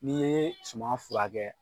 N'i ye suman furakɛ